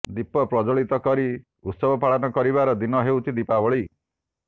ଦୀପ ପ୍ରଜ୍ୱଳିତ କରି ଉତ୍ସବ ପାଳନ କରିବାର ଦିନ ହେଉଛି ଦିପାବଳୀ